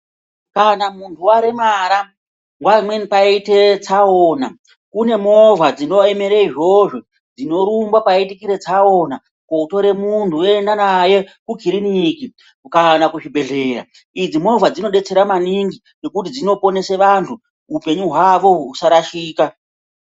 Kana muntu waremara nguwa imweni paite tsaona kune movha dzinoemere izvozvo dzinorumbe paitika tsaona kotore muntu voenda naye kukiriniki kana kuzvibhehlera. Idzi movha dzinodetsera maningi nekuti dzinoponesa vantu upenyu hwavo usarashika.